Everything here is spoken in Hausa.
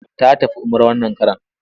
Ta tafi umrah wannan karon.